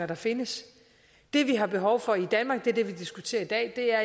der findes det vi har behov for i danmark er det vi diskuterer i dag jeg